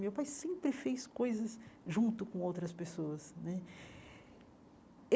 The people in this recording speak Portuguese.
Meu pai sempre fez coisas junto com outras pessoas né.